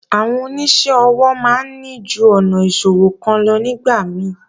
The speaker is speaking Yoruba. Àwọn oníṣẹ́ ọwọ́ máa ń ní ju ọ̀nà ìṣòwò kan lọ nígbà mí